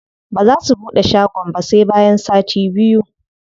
Baza su buɗe shagon ba sai bayan sati biyu.